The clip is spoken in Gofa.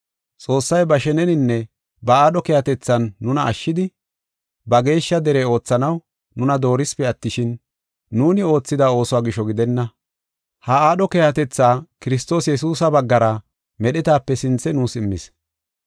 Xoossay ba sheneninne ba aadho keehatethan nuna ashshidi, ba geeshsha dere oothanaw nuna doorisipe attishin, nuuni oothida oosuwa gisho gidenna. Ha aadho keehatetha Kiristoos Yesuusa baggara merinaa wodetape sinthe nuus immis.